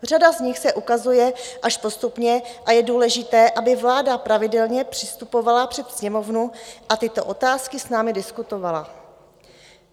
Řada z nich se ukazuje až postupně a je důležité, aby vláda pravidelně přistupovala před Sněmovnu a tyto otázky s námi diskutovala.